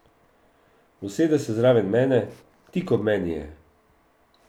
Usede se zraven mene, tik ob meni je.